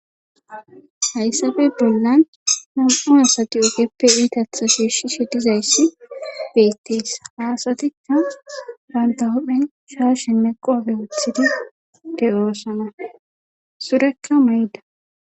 Hayssappe bollan nam'u asati ogeppe iita shiishishe dizayssi beetees. ha asatikka banta huuphen shaashenne qoobe gelisida de'osona. surekka mayida.